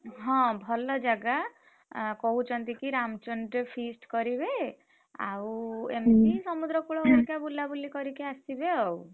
ହଁ ଭଲ ଜାଗା। ଅ କହୁଛନ୍ତି କି ରାମଚଣ୍ଡୀ ରେ feast କରିବେ। ଆଉ ଏମତି ସମୁଦ୍ରକୂଳ ଭାରିକ ବୁଲାବୁଲି କରିକି ଆସିବେ ଆଉ।